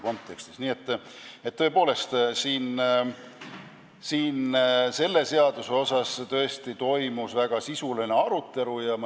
Nii et tõepoolest, selle seaduseelnõu üle toimus väga sisuline arutelu.